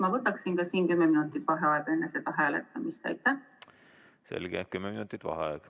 Ma võtaksin ka siin enne hääletamist kümme minutit vaheaega.